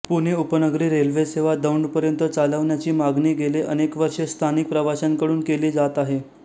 पुणे उपनगरी रेल्वे सेवा दौंडपर्यंत चालवण्याची मागणी गेले अनेक वर्षे स्थानिक प्रवाशांकडून केली जात आहे